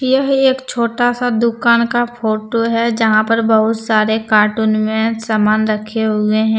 यह एक छोटा सा दुकान का फोटो है जहां पर बहुत सारे कार्टून में सामान रखे हुए हैं।